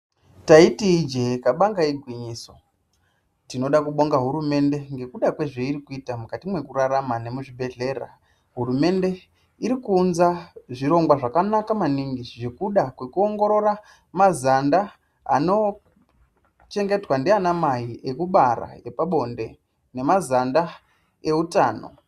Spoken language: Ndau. Taiti ijee kabanga igwinyiso. Tonoda kubonga hurumende ngekuda kwezveiri kuita mwekurarama nemuzvibhedhlera. Hurumende iri kuunza zvirongwa zvakanaka maningi zvekuda kwekuongorora mazanda anochengetwa ndiana mai ekubara epabonde nemazanda eutano.